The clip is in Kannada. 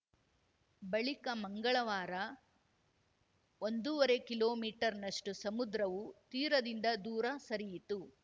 ಬಳಿಕ ಮಂಗಳವಾರ ಒಂದು ವರೆ ಕಿಲೋಮೀಟರ್ನಷ್ಟುಸಮುದ್ರವು ತೀರದಿಂದ ದೂರ ಸರಿಯಿತು